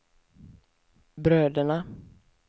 bröderna